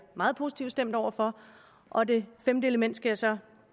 meget positivt stemt over for og det femte element skal jeg så